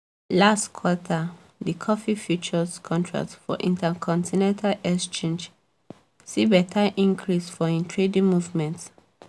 last quarter di coffee futures contract for intercontinental exchange see beta increase for im trading movement